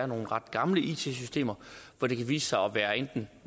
nogle ret gamle it systemer hvor det kan vise sig at være enten